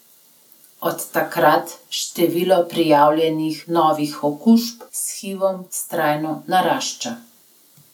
Od takrat število prijavljenih novih okužb s hivom vztrajno narašča.